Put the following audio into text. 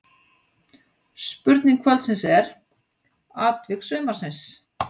Spurning kvöldsins er: Atvik sumarsins?